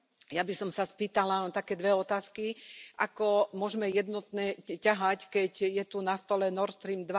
Ja by som sa spýtala len také dve otázky ako môžeme jednotne ťahať, keď je tu na stole Nordstream